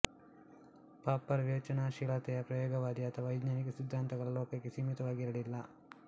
Popper ವಿವೇಚನಾಶೀಲತೆಯ ಪ್ರಯೋಗವಾದಿ ಅಥವಾ ವೈಜ್ಞಾನಿಕ ಸಿದ್ಧಾಂತಗಳ ಲೋಕಕ್ಕೆ ಸೀಮಿತವಾಗಿ ಇರಲ್ಲಿಲ್ಲ